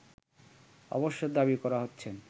অবশ্য দাবি করা হচ্ছেন